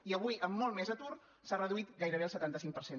i avui amb molt més atur s’ha reduït gairebé el setanta cinc per cent